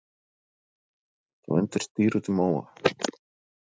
Þú undir stýri út í móa.